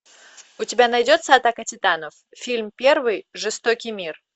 у тебя найдется атака титанов фильм первый жестокий мир